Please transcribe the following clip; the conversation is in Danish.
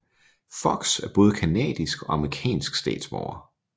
Fox er både canadisk og amerikansk statsborger